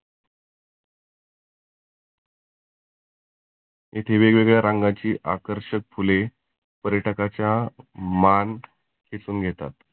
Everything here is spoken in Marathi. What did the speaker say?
येथे वेग वेगळ्या रंगाची आकर्षक फुले पर्यटकाच्या मान खेचुन घेतात.